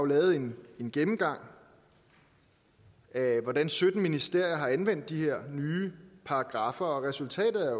lavet en gennemgang af hvordan sytten ministerier har anvendt de her nye paragraffer og resultatet